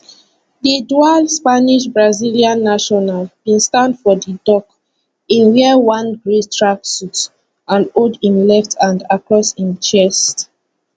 di dual spanishbrazilian national bin stand for di dock e wear one grey tracksuit and hold im left arm across im chest